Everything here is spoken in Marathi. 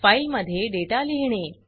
फाइल मध्ये डेटा लिहीणे